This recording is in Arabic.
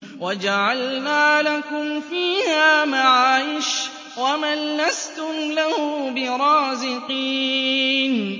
وَجَعَلْنَا لَكُمْ فِيهَا مَعَايِشَ وَمَن لَّسْتُمْ لَهُ بِرَازِقِينَ